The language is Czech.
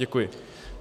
Děkuji.